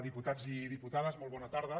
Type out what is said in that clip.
diputats i diputades molt bona tarda